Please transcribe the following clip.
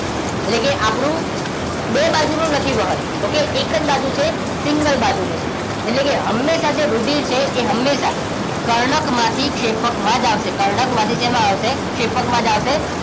એટલે કે આપણું બે બાજુ નું નથી વહન ઓકે એક જ બાજુ છે સિંગલ બાજુ નું છે એટલેકે હમેશા જે રુધિર છે એ હમેશા કર્ણક માંથી ક્ષેપકમાં જ આવશે કર્ણકમાં થી સેમા આવશે ક્ષેપકમાં જ આવશે